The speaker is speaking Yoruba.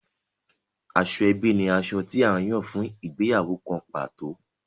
Asoebi ní aṣọ tí a Yàn fún ìgbéyàwó kán pàtó.